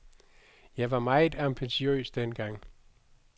Jeg var meget ambitiøs dengang.